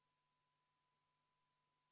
Mul on selle hääletusega seoses soov paluda vaheaega.